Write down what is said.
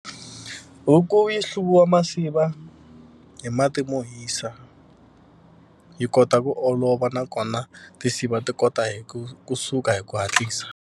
Huku yi hluvisiwa masiva hi mati mo hisa yi kota ku olova nakona tinsiva ti kota hi ku kusuka hi ku hatlisa.